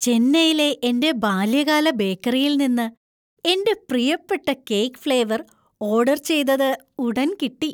ചെന്നൈയിലെ എന്‍റെ ബാല്യകാല ബേക്കറിയിൽ നിന്ന് എന്‍റെ പ്രിയപ്പെട്ട കേക്ക് ഫ്ലേവർ ഓർഡർ ചെയ്തത് ഉടന്‍ കിട്ടി.